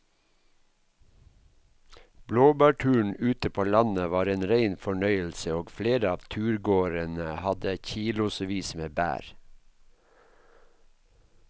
Blåbærturen ute på landet var en rein fornøyelse og flere av turgåerene hadde kilosvis med bær.